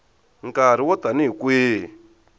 nkarhi wo tani hi kwihi